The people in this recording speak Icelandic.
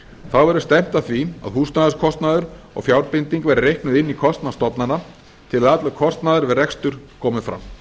þá verður stefnt að því að húsnæðiskostnaður og fjárbinding verði reiknuð inn í kostnað stofnana til að allur kostnaður við rekstur komi fram